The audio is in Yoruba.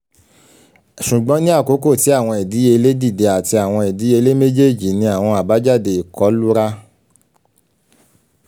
ṣugbọn ni akoko ti awọn idiyele dide ati awọn idiyele mejeeji ni awọn abajade ikọlura